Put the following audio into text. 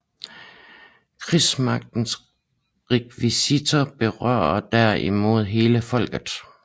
Krigsmagtens rekvisitioner berørte der imod hele folket